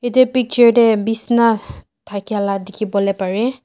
eto picture teh besna tekia laga tekibolibpari.